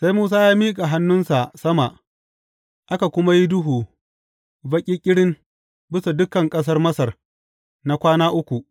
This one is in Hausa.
Sai Musa ya miƙa hannunsa sama, aka kuma yi duhu baƙi ƙirin bisa dukan ƙasar Masar na kwana uku.